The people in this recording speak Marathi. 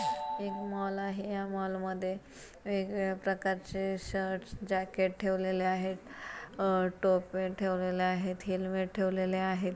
एक मॉल आहे. या मॉल मध्ये वेगवेगळ्या प्रकारचे शर्टस जैकेट ठेवलेले आहेत. टोपे ठेवलेले आहेत. हेलमेट ठेवलेले आहे.